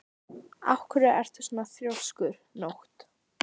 Af hverju ertu svona þrjóskur, Nótt?